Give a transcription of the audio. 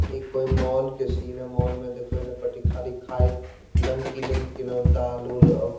इ कोई मॉल उल के सिन हेय मॉल में देखोह एने परी इ खाली खाई नमकीन उम्किन दाल-उल --